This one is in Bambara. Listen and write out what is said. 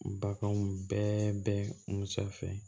Baganw bɛɛ bɛ musa fɛ